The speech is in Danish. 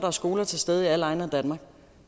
er skoler til stede i alle egne af danmark